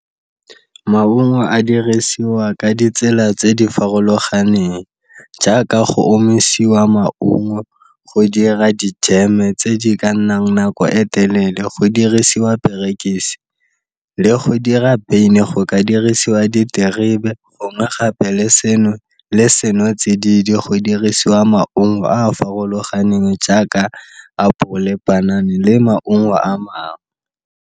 Maungo a dirisiwa ka ditsela tse di farologaneng, jaaka go omisiwa maungo go dira di jeme tse di ka nnang nako e telele go dirisiwa perekise le go dira beine go ka dirisiwa diterebe gongwe gape le seno, le senotsididi go dirisiwa maungo a a farologaneng jaaka apole, panana le maungo a mangwe.